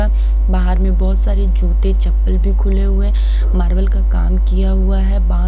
अ बाहर में बहुत सारे जूते चप्पल भी खुले हुए हैं मार्बल का काम किया हुआ है।